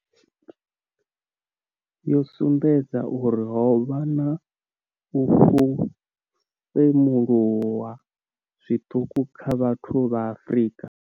yo sumbedza uri ho vha na u femuluwa zwiṱuku kha vhathu vha Afrika.